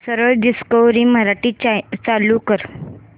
सरळ डिस्कवरी मराठी चालू कर